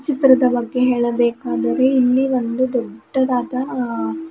ಚಿತ್ರದ ಬಗ್ಗೆ ಹೇಳಬೇಕಾದರೆ ಇಲ್ಲಿ ಒಂದು ದೊಡ್ಡದಾದ--